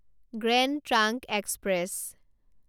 grand trunk express